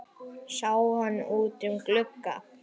Sáum hann út um glugga.